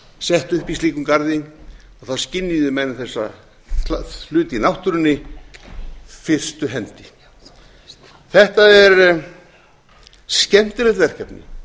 sett upp í slíkum garði og þá skynjuðu menn þessa hluti í náttúrunni fyrstu hendi þetta er skemmtilegt verkefni